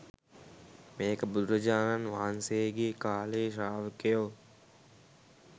මේක බුදුරජාණන් වහන්සේගේ කාලෙ ශ්‍රාවකයෝ